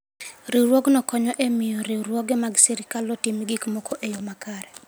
Riwruogno konyo e miyo riwruoge mag sirkal otim gik moko e yo makare.